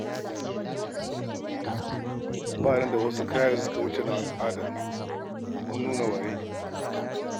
Ba ni da wasu kaya da suka wuce na al'ada, domin nuna waye ni.